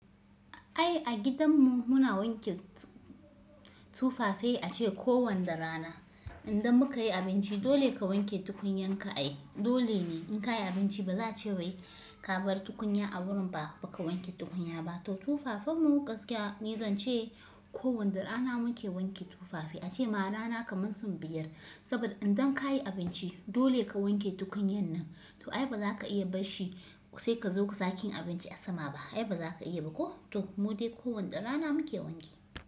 Ai a gidan mu muna wanke tufafai ace ko wanda rana. Idan muka yi abinci dole ka wanke tukunyan ka ai dole ne in ka yi abinci ba za a ce wai ka bar tukunya a wurin ba, ba ka wanke tukunya ba. To tufafen mu gaskiya ni zan ce ko wanda rana muke wanke tufafi. Ace ma a rana kamar sau biyar saboda idan ka yi abinci dole ka wanke tukunyan nan. To ai ba za ka iya bar shi sai ka zo ka sake yin abinci a sama ba. Ai ba za ka iya ba. Ko? To mu dai ko wanne rana muke wanke.